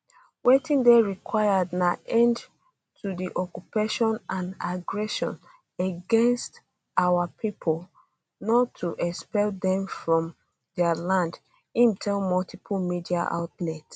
wetin dey required na end to di occupation and aggression against our pipo not to expel dem from dia land im tell multiple media outlets